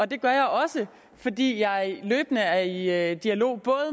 det gør jeg også fordi jeg løbende er i er i dialog